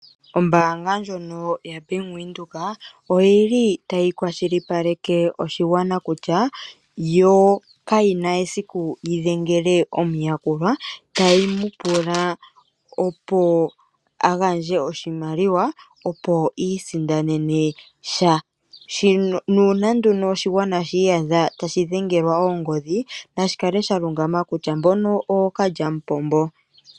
Ombaanga ndjono yaBank Windhoek oyi li tayi kwashilipaleke oshigwana kutya, yo kayi na esiku yi dengele omuyakulwa tayi mu pula opo agandje oshimaliwa opo isindanene sha. Nuuna nduno oshigwana shi iyadha tashi dhengelwa oongodhi nashi tseye kutya, mbono ookalyamupombo.